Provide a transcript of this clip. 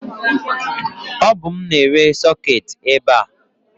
o bu mu na-ere soketi ebe a